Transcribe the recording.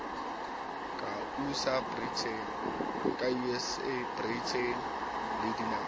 ka usa britain le dinaha